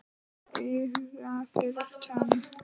Auga fyrir tönn.